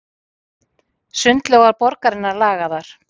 Sundlaugar borgarinnar lagaðar